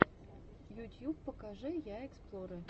ютьюб покажи я эксплорэ